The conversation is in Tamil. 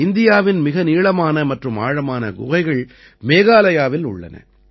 இந்தியாவின் மிக நீளமான மற்றும் ஆழமான குகைகள் மேகாலயாவில் உள்ளன